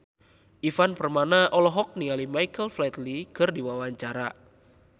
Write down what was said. Ivan Permana olohok ningali Michael Flatley keur diwawancara